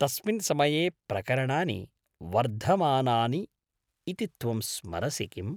तस्मिन् समये प्रकरणानि वर्धमानानि इति त्वं स्मरसि किम्?